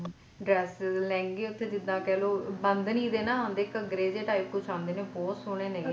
dresses lehenga ਉੱਥੇ ਜਿੱਦਾਂ ਕਹਿਲੋ ਬੰਧਨਿ ਦੇ ਨਾ ਆਉਂਦੇ ਘੱਗਰੇ ਜੇ type ਕੁੱਜ ਆਉਂਦੇ ਨੇ ਬਹੁਤ ਸੋਹਣੇ ਨੇਗੇ ਉਹ